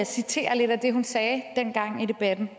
citere lidt af det hun sagde i debatten